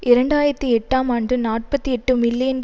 இரண்டு ஆயிரத்தி எட்டாம் ஆண்டு நாற்பத்தி எட்டு மில்லியன்